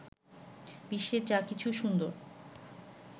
বিশ্বের যা কিছু সুন্দর